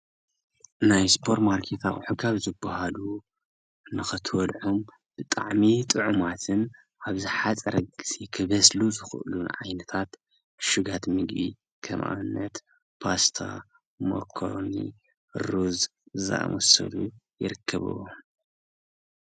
ናይ ሱፐርማርኬት አቁሑ ካብ ዝበሃሉ ንክትበልዖም ብጣዕሚ ጥዑማትን ኣብ ዝሓፀረ ግዜ ክበስሉ ዝኽእሉ ዓይነታት እሹጋት ምግቢ ከም ኣብነት ፓስታ፣ መኮረኒ፣ ሩዝ ዝኣመሰሉ ይርከብዎም።